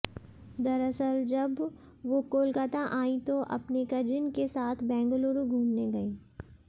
दरअसल जब वो कोलकाता आईं तो अपने कजिन के साथ बेंगलुरु घूमने गईं